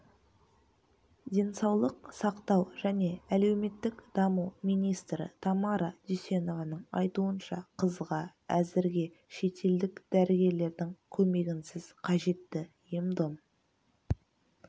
денсаулық сақтау және әлеуметтік даму министрі тамара дүйсенованың айтуынша қызға әзірге шетелдік дәрігерлердің көмегінсіз қажетті ем-дом